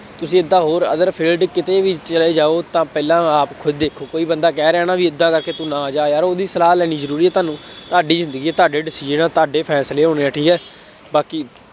ਤੁਸੀਂ ਏਦਾਂ ਹੋਰ ਅਗਰ field ਕਿਤੇ ਵੀ ਚਲੇ ਜਾਉ ਤਾਂ ਪਹਿਲਾਂ ਆਪ ਖੁਦ ਦੇਖੋ ਕੋਈ ਬੰਦਾ ਕਹਿ ਰਿਹਾ ਨਾ ਬਈ ਏਦਾਂ ਕਰਕੇ ਤੂੰ ਨਾ ਜਾ ਯਾਰ ਉਹਦੀ ਸਲਾਹ ਲੈਣੀ ਜ਼ਰੂਰੀ ਹੈ ਤੁਹਾਨੂੰ ਤੁਹਾਡੀ ਜ਼ਿੰਦਗੀ, ਤੁਹਾਡੇ decision ਹੈ, ਤੁਹਾਡੇ ਫੈਸਲੇ ਹੋਣੇ ਹੈ ਠੀਕ ਹੈ, ਬਾਕੀ